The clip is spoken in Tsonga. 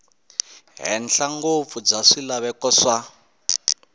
henhla ngopfu bya swilaveko swa